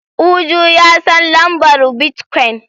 Uju ya san lambar bitcoin.